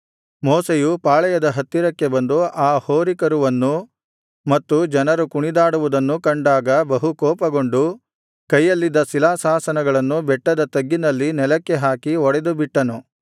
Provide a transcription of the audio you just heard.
ಮೋಶೆಯು ಪಾಳೆಯದ ಹತ್ತಿರಕ್ಕೆ ಬಂದು ಆ ಹೋರಿಕರುವನ್ನೂ ಮತ್ತು ಜನರು ಕುಣಿದಾಡುವುದನ್ನೂ ಕಂಡಾಗ ಬಹು ಕೋಪಗೊಂಡು ಕೈಯಲ್ಲಿದ್ದ ಶಿಲಾಶಾಸನಗಳನ್ನು ಬೆಟ್ಟದ ತಗ್ಗಿನಲ್ಲಿ ನೆಲಕ್ಕೆ ಹಾಕಿ ಒಡೆದುಬಿಟ್ಟನು